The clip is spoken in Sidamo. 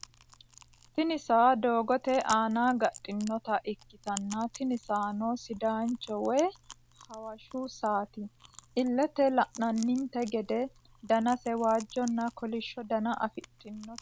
tini sa'a dogote ana gadhinota ikitana tini sano sidanicho woy hawashshu sa'at. elete lananite gede danase wajona kolishsho dana afidhinote.